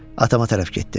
Atama tərəf getdim.